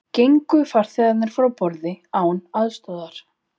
Gengu farþegarnir frá borði án aðstoðar